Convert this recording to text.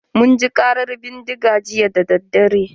Mun ji ƙarar bindiga jiya dadadare.